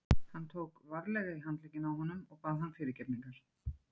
Hann tók varlega í handlegginn á honum og bað hann fyrirgefningar.